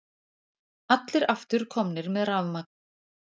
Allir aftur komnir með rafmagn